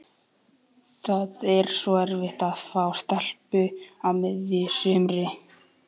Það er svo erfitt að fá stelpu á miðju sumri.